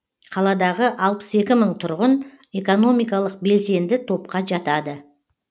қаладағы алпыс екі мың тұрғын экономикалық белсенді топқа жатады